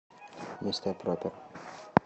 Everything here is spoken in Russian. мистер пропер